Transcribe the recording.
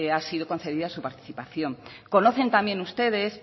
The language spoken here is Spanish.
ha sido concebida su participación conocen también ustedes